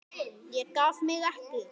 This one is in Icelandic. Ég gaf mig ekki!